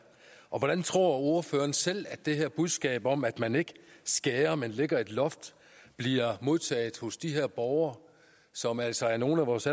hvordan tror ordføreren selv at det her budskab om at man ikke skærer ned men lægger et loft bliver modtaget hos de her borgere som altså er nogle af vores